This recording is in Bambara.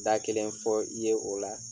Da kelen fɔ i ye o la